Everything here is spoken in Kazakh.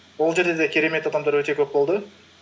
ол жерде де керемет адамдар өте көп болды